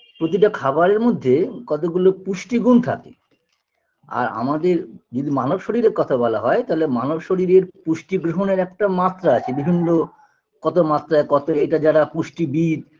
প্রতিটা খাবারের মধ্যে কতগুলো পুষ্টিগুণ থাকে আর আমাদের যদি মানব শরীরের কথা বলা হয় তালে মানব শরীরের পুষ্টি বিহনের একটা মাত্রা আছে কত মাত্রা কত এটা যারা পুষ্টিবিদ